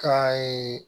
Ka